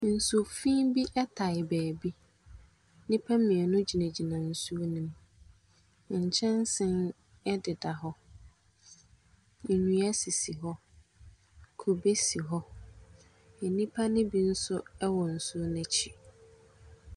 Nsufi bi taa baabi. Nnipammienu gyinagyina nsuo no mu. Nkyɛnsee wɔ deda hɔ. Nnua sisi hɔ. Kube si hɔ. Nnipa no bi nso wɔ nsuo no akyi.